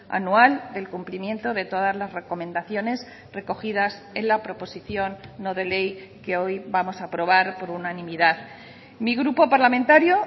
anual del cumplimiento de todas las recomendaciones recogidas en la proposición no de ley que hoy vamos a aprobar por unanimidad mi grupo parlamentario